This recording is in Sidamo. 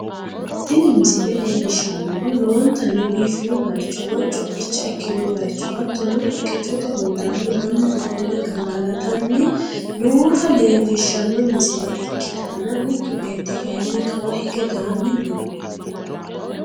tini misile leellishshannohu lowontanni biifino bayicho woy co'icha ikkino bayicho hattono, haqqichote hundaanni mannu ofolle gangalatanni noota leellishshanno misile ikkitanna, mittu beetti kayiinni kawa hige daanni noo.